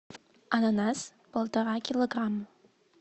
ананас полтора килограмма